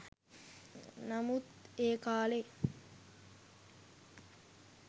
නමුත් ඒ කාලෙ